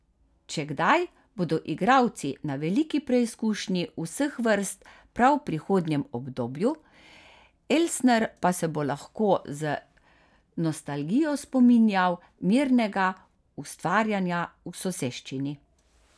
Če kdaj, bodo igralci na veliki preizkušnji vseh vrst prav v prihodnjem obdobju, Elsner pa se bo lahko z nostalgijo spominjal mirnega ustvarjanja v soseščini.